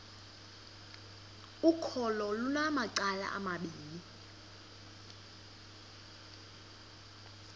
ukholo lunamacala amabini